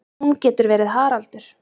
Hún getur verið Haraldur